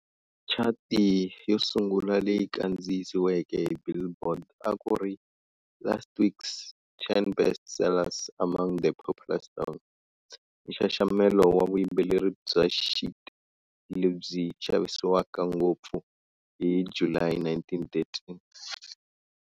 Chati yosungula leyi kandziyisiweke hi "Billboard" akuri "Last Week's Ten Best Sellers Among the Popular Songs", nxaxamelo wa vuyimbeleri bya sheet lebyi xavisiwaka ngopfu, hi July 1913.